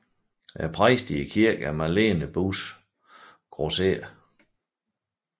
Præst i kirken er Malene Buus Graeser